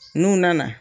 N'u nana